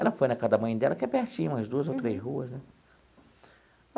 Ela foi na casa da mãe dela, que é pertinho, umas duas ou três ruas, né?